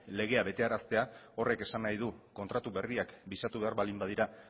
legea betearaztea horrek esan nahi du kontratu berriak bisatu behar baldin badira